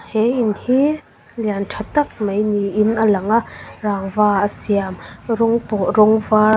he in hi lian tha tak mai niin a lang a rangva a siam rawng pawl rawng var--